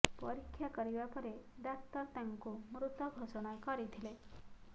ପରୀକ୍ଷା କରିବା ପରେ ଡାକ୍ତର ତାଙ୍କୁ ମୃତ ଘୋଷଣା କରିଥିଲେ